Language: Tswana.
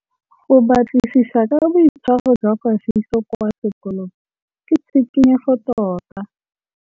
Go batlisisa ka boitshwaro jwa Kagiso kwa sekolong ke tshikinyêgô tota.